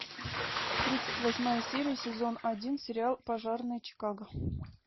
тридцать восьмая серия сезон один сериал пожарные чикаго